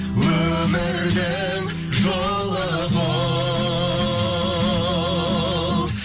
өмірдің жолы бұл